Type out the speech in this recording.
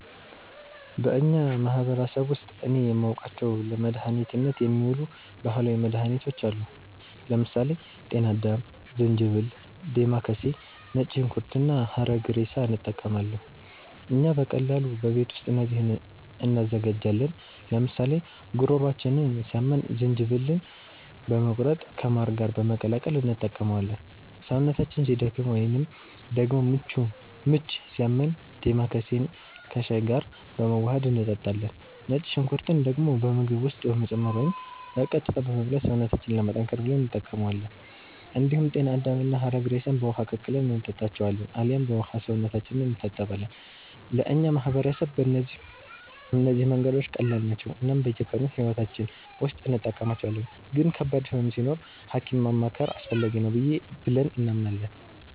በእኛ ማህበረሰብ ውስጥ እኔ የማውቃቸው ለመድኃኒትነት የሚውሉ ባህላዊ መድኃኒቶች አሉ። ለምሳሌ ጤና አዳም፣ ዝንጅብል፣ ዴማከሴ፣ ነጭ ሽንኩርት እና ሐረግሬሳ እንጠቀማለን። እኛ በቀላሉ በቤት ውስጥ እነዚህን እንዘጋጃለን፤ ለምሳሌ ጉሮሯችንን ሲያመን ዝንጅብልን በመቁረጥ ከማር ጋር በመቀላቀል እንጠቀመዋለን። ሰውነታችን ሲደክም ወይንም ደግሞ ምች ሲያመን ዴማከሴን ከሻይ ጋር በማዋሀድ እንጠጣለን። ነጭ ሽንኩርትን ደግሞ በምግብ ውስጥ በመጨመር ወይም በቀጥታ በመብላት ሰውነታችንን ለማጠንከር ብለን እንጠቀማዋለን። እንዲሁም ጤና አዳምና ሐረግሬሳን በውሃ ቀቅለን እንጠጣቸዋለን አልያም በውሃው ሰውነታችንን እንታጠባለን። ለእኛ ማህበረሰብ እነዚህ መንገዶች ቀላል ናቸው እናም በየቀኑ ሕይወታችን ውስጥ እንጠቀማቸዋለን፤ ግን ከባድ ህመም ሲኖር ሀኪም ማማከር አስፈላጊ ነው ብለንም እናምናለን።